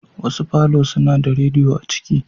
Wasu Falo suna da radiyo a cikin.